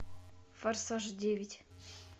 форсаж девять